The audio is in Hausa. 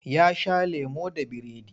Ya sha lemo da biredi.